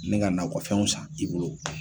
Ni ka nakɔ fɛnw san i bolo.